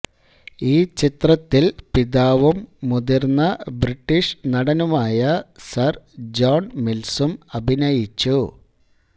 ഈ ചിത്രത്തിൽ പിതാവും മുതിർന്ന ബ്രിട്ടീഷ് നടനുമായിരുന്ന സർ ജോൺ മിൽസും അഭിനയിച്ചു